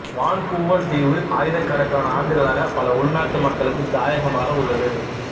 Vancouver தீவு ஆயிரக்கணக்கான ஆண்டுகளாக பல உள்நாட்டு மக்களுக்கு தாயகமாக உள்ளது